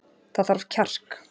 Það þarf kjark